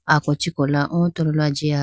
ako chee kola o tololo ajiya.